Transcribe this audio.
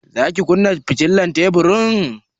Za ki kunna fitilar teburin?